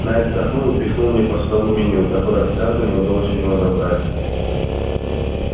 найд вздохнул и пихнул мне по столу меню которое официанту не удалось у него забрать